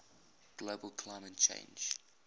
global climate change